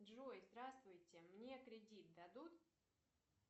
джой здравствуйте мне кредит дадут